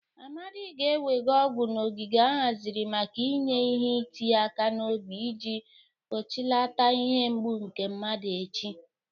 Amadị ga-ewega ọgwụ n'ogige ahaziri maka inye ihe iti aka n'obi iji gbochilata ihe mgbụ nke mmadu echi.